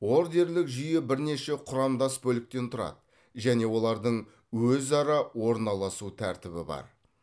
ордерлік жүйе бірнеше құрамдас бөліктен тұрады және олардың өзара орналасу тәртібі бар